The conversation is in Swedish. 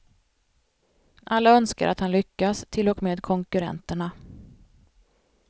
Alla önskar att han lyckas, till och med konkurrenterna.